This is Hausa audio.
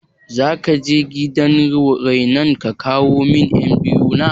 Zakaje gidan rainon ka kawo min ƴan biyu na?